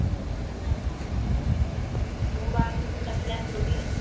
ମୋ ବାହାଘର କୁ ସବୁ ଡାକିଲେ ଆସିବ ଟି?